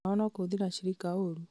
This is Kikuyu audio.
wĩra wao no kũhũthĩra ashirika ũru